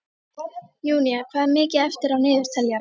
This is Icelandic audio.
Júnía, hvað er mikið eftir af niðurteljaranum?